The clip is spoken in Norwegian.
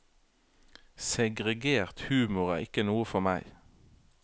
Segregert humor er ikke noe for meg.